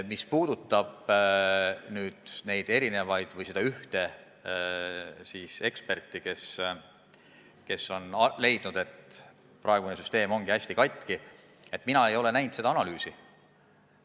Mis puudutab erinevaid eksperte või seda ühte eksperti, kes on leidnud, et praegune süsteem ongi hästi katki, siis mina ei ole seda analüüsi näinud.